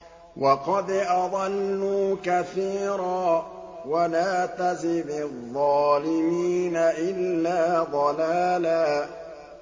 وَقَدْ أَضَلُّوا كَثِيرًا ۖ وَلَا تَزِدِ الظَّالِمِينَ إِلَّا ضَلَالًا